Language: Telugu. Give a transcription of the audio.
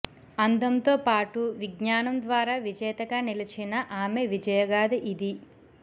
అందంతో పాటు విజ్ఞానం ద్వారా విజేతగా నిలిచిన ఆమె విజయ గాథ ఇదీ